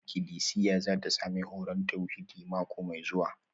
Ikilisiya za ta sami horon tauhidi mako mai zuwa